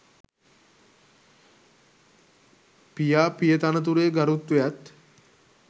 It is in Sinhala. පියා පිය තනතුරේ ගරුත්වයත්